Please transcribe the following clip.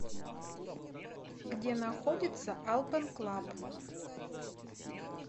где находится алпэн клаб